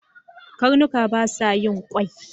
karnuka basa yin kwai